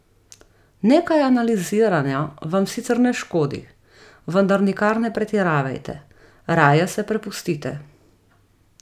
Nekaj analiziranja vam sicer ne škodi, vendar nikar ne pretiravajte, raje se prepustite.